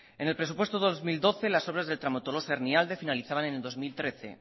en el presupuesto dos mil doce las obras de tramo tolosa hernialde finalizaban en el dos mil trece